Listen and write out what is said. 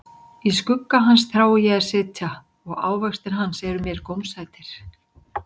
Í skugga hans þrái ég að sitja, og ávextir hans eru mér gómsætir.